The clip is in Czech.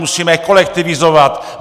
Musíme kolektivizovat!